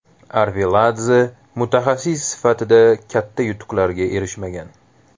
Arveladze mutaxassis sifatida katta yutuqlarga erishmagan.